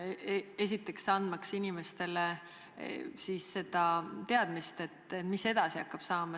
See annab inimestele teadmise, mis edasi hakkab saama.